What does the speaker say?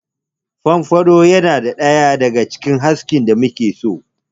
Fomfado yana ɗaya daga cikin irin askin da muke so.